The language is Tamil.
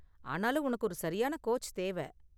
ஆனாலும் உனக்கு ஒரு சரியான கோச் தேவை.